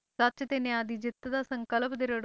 ਸੱਚ ਤੇ ਨਿਆਂ ਦੀ ਜਿੱਤ ਦਾ ਸੰਕਲਪ ਦ੍ਰਿੜ